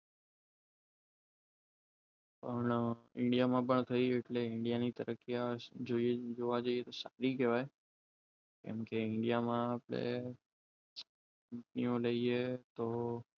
પણ ઇન્ડિયામાં તૈયાર થઈ એટલે ઈન્ડિયાની તરફથી જોવા જઈએ તો સારી કહેવાય જેમકે ઇન્ડિયામાં આપણે તો